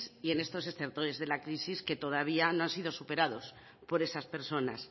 y en estos estertores de la crisis que todavía no han sido superados por esas personas